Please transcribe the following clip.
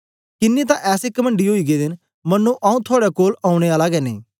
किन्नें तां ऐसे कमणडी ओई गेदे न मन्नो आऊँ थुआड़े कोल औने आला गै नेई